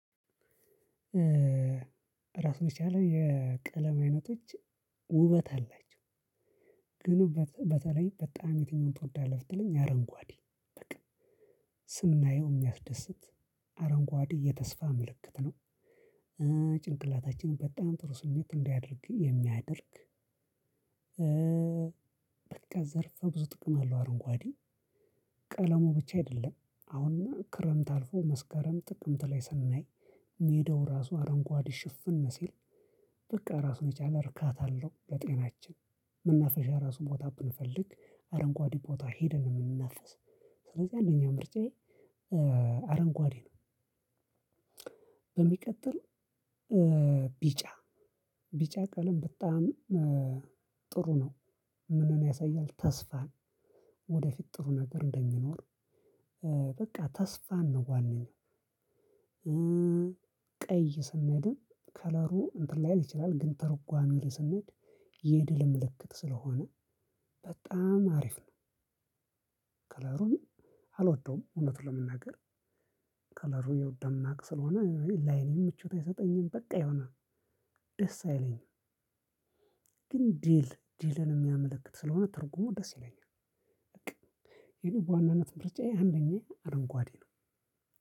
ራሱን የቻለ የቀለም አይነቶች ውበት አላቸው። ግን በተለይ በጣም የትኛውን ትወዳለህ ብትለኝ አረንጓዴ በቃ ስናየው የሚያስደስት አረንጓዴ የተስፋ ምልክት ነው። ጭንቅላታችን በጣም ጥሩ ስሜት እንዲያደርግ የሚያደርግ። በቃ ዘርፈ ብዙ ጥቅም አለው። አረንጓዴ ቀለሙ ብቻ አይደለም አሁን ክረምት አልፎ መስከረም ጥቅምት ላይ ስናይ ሜዳው ራሱ አረንጓዴ ሽፍን ሲል በቃ ራሱን የቻለ እርካታ አለው። ለጤናችን መናፈሻ ራሱ ቦታ ብንፈልግ አረንጓዴ ቦታ ሄደን ነው የምንናፈስ። ስለዚህ አንደኛ ምርጫዬ አረንጓዴ ነው። በሚቀጥል ቢጫ ቢጫ ቀለም በጣም ጥሩ ነው። ምንን ያሳያል ተስፋን ወደፊት ጥሩ ነገር እንደሚኖር። በቃ ተስፋን ነው ዋናው። ቀይ ስንሄድም ከለሩ እንትን ላይል ይችላል ግን ትርጓሚ ላይ ስንሄድ የድል ምልክት ስለሆነ በጣም አሪፍ ነው። ከለሩን አልወደውም እውነቱን ለመናገር። ከለሩ የው ደማቅ ስለሆነ ላይኔም ምቾት አይሰጠኝም በቃ የሆነ ደስ አይለኝም። ግን ድል ድልን የሚያመለክት ስለሆነ ትርጉሙ ደስ ይለኛል። በቃ ግን በዋናነት ምርጫዬ አንደኛ አረንጓዴ ነው።